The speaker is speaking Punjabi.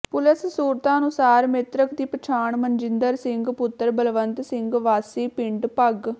ਪੁਲਸ ਸੂਤਰਾਂ ਅਨੁਸਾਰ ਮਿ੍ਰਤਕ ਦੀ ਪਛਾਣ ਮਨਜਿੰਦਰ ਸਿੰਘ ਪੁੱਤਰ ਬਲਵੰਤ ਸਿੰਘ ਵਾਸੀ ਪਿੰਡ ਭਗ